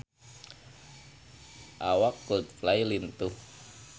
Awak Coldplay lintuh